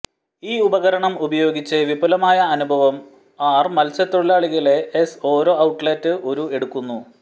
ഈ ഉപകരണം ഉപയോഗിച്ച് വിപുലമായ അനുഭവം ആർ മത്സ്യത്തൊഴിലാളികളെ ഐസ് ഓരോ ഔട്ട്ലെറ്റ് ഒരു എടുക്കുന്നു